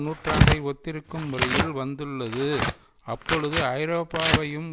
நூற்றாண்டை ஒத்திருக்கும் முறையில் வந்துள்ளது அப்பொழுது ஐரோப்பாவையும்